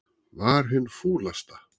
Var hin fúlasta.